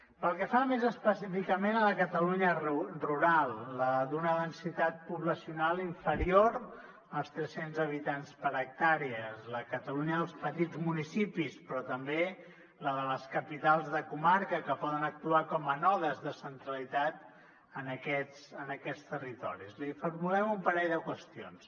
pel que fa més específicament a la catalunya rural la d’una densitat poblacional inferior als tres cents habitants per hectàrea la catalunya dels petits municipis però també la de les capitals de comarca que poden actuar com a nodes de centralitat en aquests territoris li formulem un parell de qüestions